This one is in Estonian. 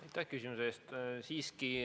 Aitäh küsimuse eest!